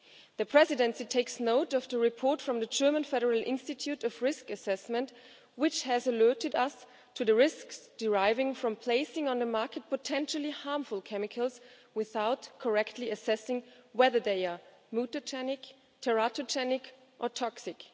The Presidency takes note of the report from the German Federal Institute for Risk Assessment, which has alerted us to the risks deriving from placing on the market potentially harmful chemicals without correctly assessing whether they are mutagenic, teratogenic or toxic.